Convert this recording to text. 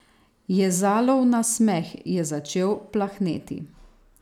Jezalov nasmeh je začel plahneti.